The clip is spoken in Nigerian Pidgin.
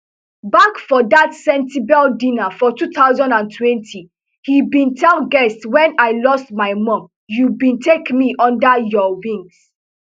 back for dat sentebale dinner for two thousand and twenty e bin tell guests wen i lost my mum you bin take me under your wing